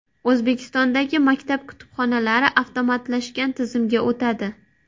O‘zbekistondagi maktab kutubxonalari avtomatlashgan tizimga o‘tadi.